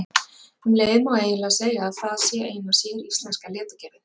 Um leið má eiginlega segja að það sé eina séríslenska leturgerðin.